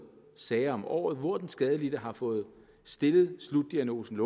sager om året hvor den skadelidte har fået stillet slutdiagnosen